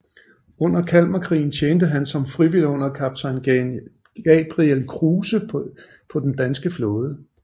Under Kalmarkrigen tjente han som frivillig under kaptajn Gabriel Kruse på den danske flåde